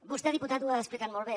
vostè diputat ho ha explicat molt bé